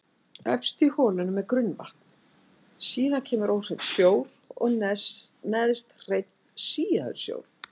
Efst í holunum er grunnvatn, síðan kemur óhreinn sjór og neðst hreinn síaður sjór.